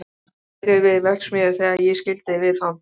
Hann var niðri við verksmiðju þegar ég skildi við hann.